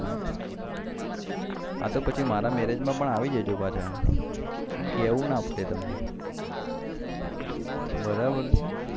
હાતો પછી મારા marriage માં પણ આવી જજો પાછા કેવું ના પડે તમને